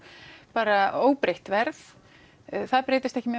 bara óbreytt verð